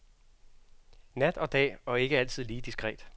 Nat og dag, og ikke altid lige diskret.